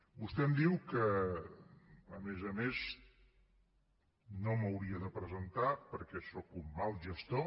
vostè em diu que a més a més no m’hauria de presentar perquè sóc un mal gestor